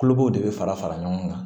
Kulukoro de fara fara ɲɔgɔn kan